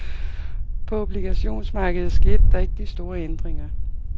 På obligationsmarkedet skete der ikke de store ændringer.